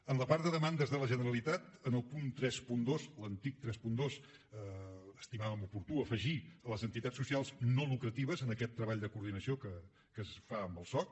en la part de demandes de la generalitat en el punt trenta dos l’antic trenta dos estimaven oportú afegir les entitats socials no lucratives en aquest treball de coordinació que es fa amb el soc